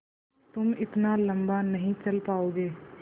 तुम इतना लम्बा नहीं चल पाओगे